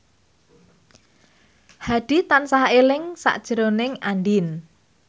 Hadi tansah eling sakjroning Andien